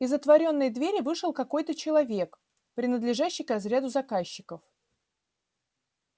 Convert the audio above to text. из отворенной двери вышел какой-то человек принадлежащий к разряду заказчиков